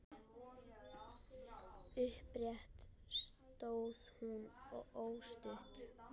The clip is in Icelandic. Upprétt stóð hún óstudd.